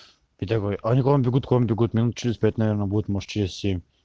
я говорю они к вам бегут к вам бегут минут через пять наверное будет может через семь